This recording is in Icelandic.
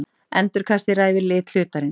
Endurkastið ræður lit hlutarins.